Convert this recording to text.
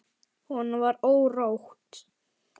Honum var órótt.